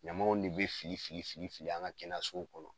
Ɲamaw de bɛ fili fili fili fili an ka kɛnɛso kɔnɔ.